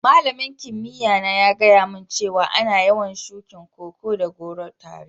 Malamin kimiyya na ya gaya mun cewa ana yawan shukin Koko da goro tare.